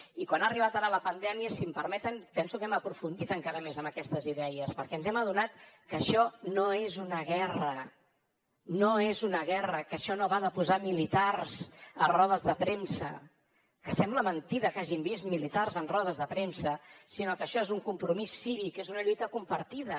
i quan ha arribat ara la pandèmia si em permeten penso que hem aprofundit encara més en aquestes idees perquè ens hem adonat que això no és una guerra no és una guerra que això no va de posar militars a rodes de premsa que sembla mentida que hàgim vist militars en rodes de premsa sinó que això és un compromís cívic és una lluita compartida